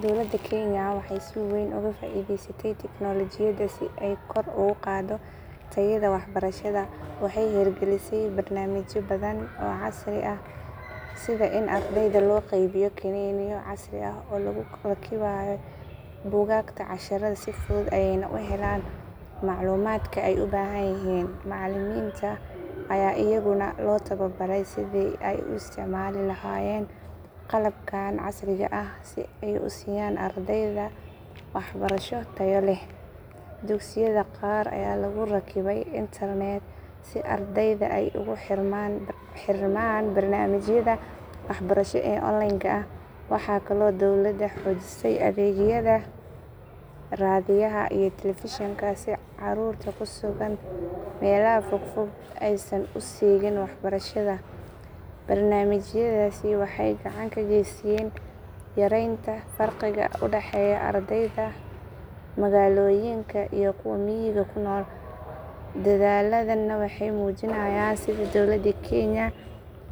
Dowladda Kenya waxay si weyn uga faa'iidaysatay tignoolajiyada si ay kor ugu qaaddo tayada waxbarashada. Waxay hirgelisay barnaamijyo badan oo casri ah sida in ardayda loo qaybiyo kiniiniyo casri ah oo lagu rakibay buugaagta casharrada si fudud ayeyna u helaan macluumaadka ay u baahan yihiin. Macallimiinta ayaa iyaguna loo tababaray sidii ay u isticmaali lahaayeen qalabkan casriga ah si ay u siiyaan ardayda waxbarasho tayo leh. Dugsiyada qaar ayaa lagu rakibay internet si ardayda ay ugu xirmaan barnaamijyada waxbarasho ee online ka ah. Waxay kaloo dowladda xoojisay adeegyada raadiyaha iyo telefishinka si carruurta ku sugan meelaha fogfog aysan u seegin waxbarashada. Barnaamijyadaasi waxay gacan ka geysteen yareynta farqiga u dhexeeya ardayda magaalooyinka iyo kuwa miyiga ku nool. Dadaalladan waxay muujinayaan sida dowladda Kenya